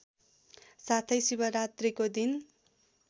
साथै शिवरात्रीको दिन